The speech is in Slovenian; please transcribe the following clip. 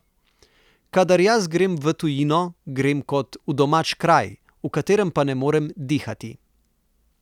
Kadar jaz grem v tujino, grem kot v domač kraj, v katerem pa ne morem dihati.